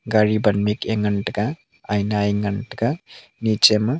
gaari ban mik a ngan taiga aina e ngan taiga niche ma.